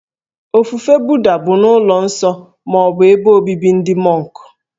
Ofufe Buddha bụ n'ụlọ nsọ ma ọ bụ ebe obibi ndị mọnk